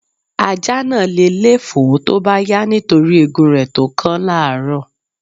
Ajá náà le lé fòó tó bá yá nítorí egun rẹ̀ tó kán lárọ́ọ̀.